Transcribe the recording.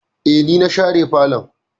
Eh, ni na share falon